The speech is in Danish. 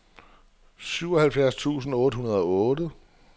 syvoghalvfems tusind otte hundrede og otte